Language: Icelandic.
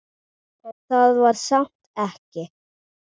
En það var samt ekki.